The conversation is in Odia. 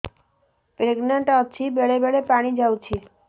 ପ୍ରେଗନାଂଟ ଅଛି ବେଳେ ବେଳେ ପାଣି ଯାଉଛି